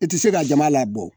I tɛ se ka jama la bɔ